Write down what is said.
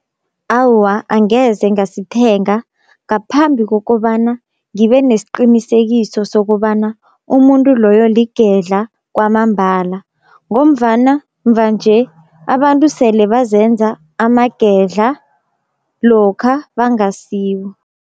Awa angeze ngasithenga ngaphambi kokobana ngibe nesiqinisekiso sokobana umuntu loyo ligedla kwamambala, ngomvana mva nje abantu sele bazenza amagedla lokha bangasiwo.